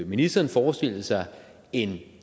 ministeren forestille sig en